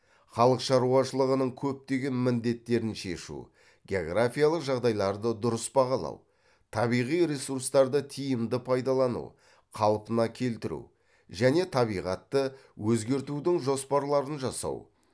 халық шаруашылығының көптеген міндеттерін шешу географиялық жағдайларды дұрыс бағалау табиғи ресурстарды тиімді пайдалану қалпына келтіру және табиғатты өзгертудің жоспарларын жасау